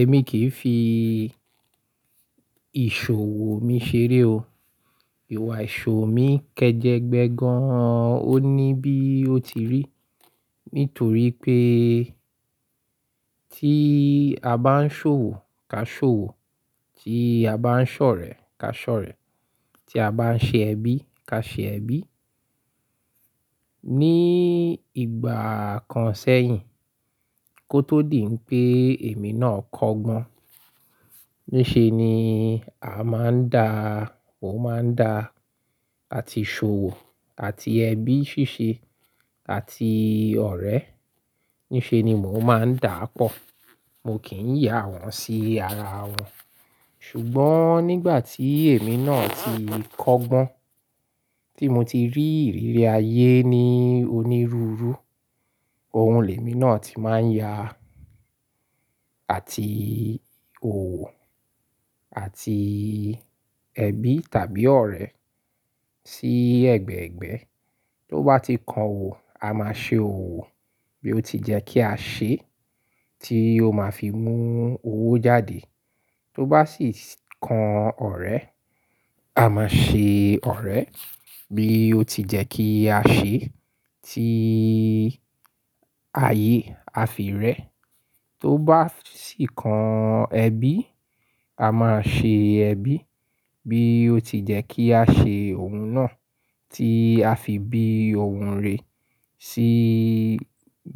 Èmi kìí fi ìṣòwò mi ṣeré o. Ìwà ìṣòwò mi kẹjẹgbẹ gan. Ó ní bí ó ti rí, nítorí pé tí a bá ń ṣòwò, ká ṣòwò; tí a bá ń ṣọ̀rẹ́, ká ṣọ̀rẹ́; tí a bá ń ṣe ẹbí, ká ṣe ẹbí. Ni ìgbà kan sẹ́yìn kó tó dì n pé èmi náà kọ́gbọ́n. Níṣe ni a máa ń dá, mo máa ń dá áti ṣòwò, áti ẹbí ṣíṣe, áti ọ̀rẹ́. Níṣe ni mò máa ń daà pọ̀. Mio kì ń ya wọn sí ara wọn. Ṣùgbọ́n nígbà tí èmi náà ti kọ́gbọ́n, tí mo ti rí ìrírí ayé ní onírúurú, òhun lèmi náà ti máa ń ya àti òwò, àti ẹbí tàbí ọ̀rẹ́ sí ẹ̀gbẹ̀ẹ̀gbẹ́. Tó bá ti kan òwò, a máa ṣe òwò bí ó ti jẹ́ kí a ṣe, tí ó máa fi mú owó jáde. Tó bá sì kan ọ̀rẹ́, a máa ṣe ọ̀rẹ́ bí ó ti jẹ́ kí a ṣe, tí ayé a fi rẹ. Tó bá sì kan ẹbí, a máa ṣe ẹbí bí ó ti jẹ́ kí a ṣe òhun náà, tí a fi bí òhun rè sí